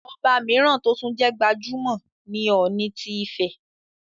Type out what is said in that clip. Ọba mìíràn tó tún jẹ́ gbajúmọ̀ ni Ọọ̀ni ti Ifẹ̀,